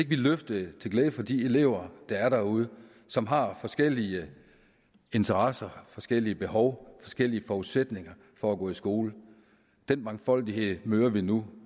vi løftede til glæde for de elever der er derude som har forskellige interesser og forskellige behov forskellige forudsætninger for at gå i skole den mangfoldighed møder vi nu